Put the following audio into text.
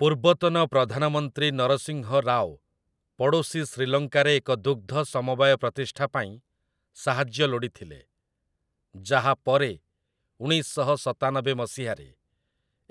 ପୂର୍ବତନ ପ୍ରଧାନମନ୍ତ୍ରୀ ନରସିଂହ ରାଓ ପଡ଼ୋଶୀ ଶ୍ରୀଲଙ୍କାରେ ଏକ ଦୁଗ୍‌ଧ ସମବାୟ ପ୍ରତିଷ୍ଠା ପାଇଁ ସାହାଯ୍ୟ ଲୋଡ଼ିଥିଲେ, ଯାହା ପରେ ଉଣେଇଶ ଶହ ସତାନବେ ମସିହାରେ